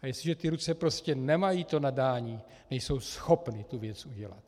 A jestliže ty ruce prostě nemají to nadání, nejsou schopny tu věc udělat.